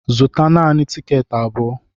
Zụta naanị tikeeti abụọ!